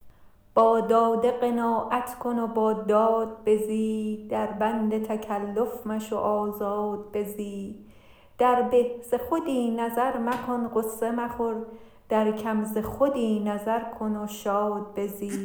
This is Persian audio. با داده قناعت کن و با داد بزی در بند تکلف مشو آزاد بزی در به ز خودی نظر مکن غصه مخور در کم ز خودی نظر کن و شاد بزی